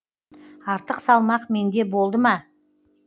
артық салмақ менде болды ма